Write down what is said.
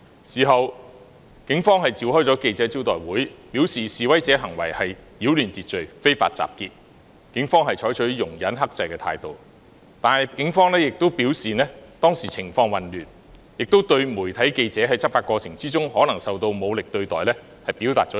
事後，警方召開記者招待會，表示示威者的行為是擾亂秩序，非法集結，警方已採取容忍和克制的態度，但同時警方亦表示當時情況混亂，對於在執法過程中，媒體記者可能受到武力對待，表達歉意。